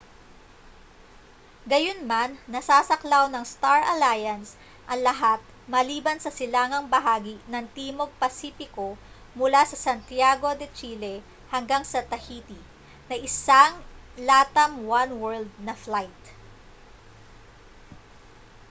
gayunman nasasaklaw ng star alliance ang lahat maliban sa silangang bahagi ng timog pasipiko mula sa santiago de chile hanggang sa tahiti na isang latam oneworld na flight